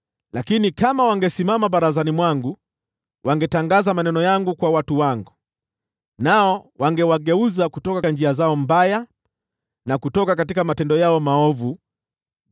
Lakini kama wangesimama barazani mwangu, wangetangaza maneno yangu kwa watu wangu, nao wangewageuza kutoka njia zao mbaya na kutoka matendo yao maovu.”